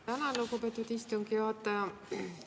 Tänan, lugupeetud istungi juhataja!